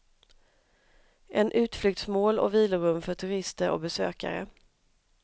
En utflyktsmål och vilorum för turister och besökare.